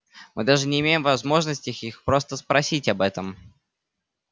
мы даже не имеем возможности их просто спросить об этом